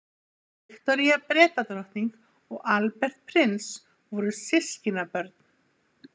viktoría bretadrottning og albert prins voru systkinabörn